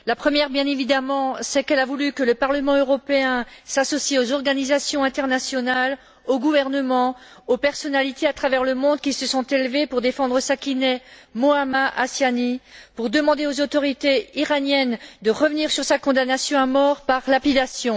La première, bien évidemment, c'est qu'elle a voulu que le Parlement européen s'associe aux organisations internationales, aux gouvernements, aux personnalités à travers le monde qui se sont élevés pour défendre Sakineh Mohammadi Ashtiani, pour demander aux autorités iraniennes de revenir sur sa condamnation à mort par lapidation.